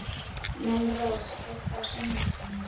Melrós, kveiktu á sjónvarpinu.